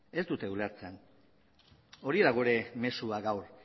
ez dute ulertzen hori da gure mezua gaur